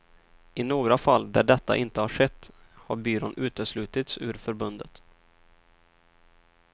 I några fall där detta inte har skett har byrån uteslutits ur förbundet.